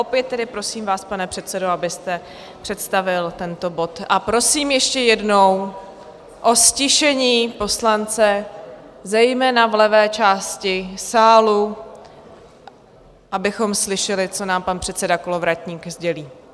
Opět tedy prosím vás, pane předsedo, abyste představil tento bod, a prosím ještě jednou o ztišení poslance, zejména v levé části sálu, abychom slyšeli, co nám pan předseda Kolovratník sdělí.